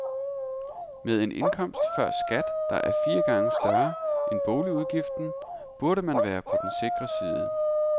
Med en indkomst før skat, der er fire gange større end boligudgiften, burde man være på den sikre side.